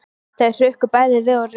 Þau hrukku bæði við og réttu úr sér.